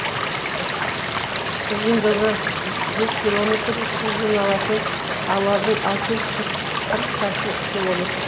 ұзындығы жүз километр су жиналатын алабы алты жүз қырық шаршы километр